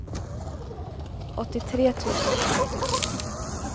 åttiotre tusen åttiosju